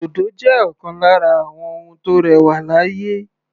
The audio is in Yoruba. Òdòdó jẹ́ ọ̀kan lára àwọn ohun tó rẹwà láyé.